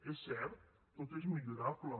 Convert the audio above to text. és cert tot és millorable